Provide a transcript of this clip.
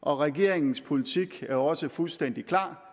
og regeringens politik er også fuldstændig klar